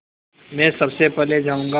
मैं सबसे पहले जाऊँगा